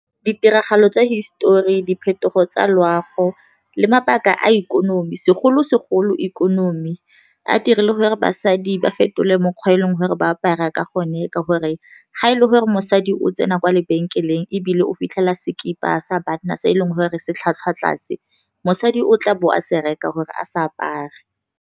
Ditiragalo tsa hisetori, diphetogo tsa loago le mabaka a ikonomi, segolo-segolo ikonomi a dirile gore basadi ba fetole mokgwa e leng gore ba apara ka gone, ka gore ga e le gore mosadi o tsena kwa lebenkeleng ebile o fitlhela sekipe sa banna se e leng gore se tlhwatlhwa tlase, mosadi o tla bo a se reka gore a sa apare.